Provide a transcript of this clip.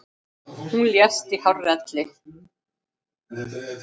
Hún lést í hárri elli.